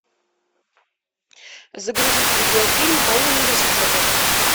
загрузить видеофильм мои университеты